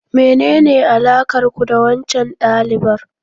Menene alakar ku da waccan dalibar?